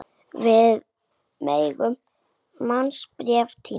Við megum muna betri tíma.